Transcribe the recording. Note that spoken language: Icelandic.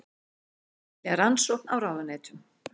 Vilja rannsókn á ráðuneytum